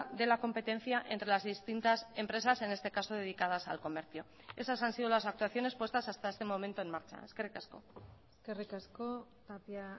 de la competencia entre las distintas empresas en este caso dedicadas al comercio esas han sido las actuaciones puestas hasta este momento en marcha eskerrik asko eskerrik asko tapia